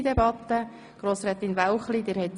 2010 Behandlung in freier Debatte